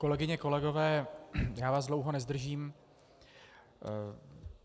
Kolegyně, kolegové, já vás dlouho nezdržím.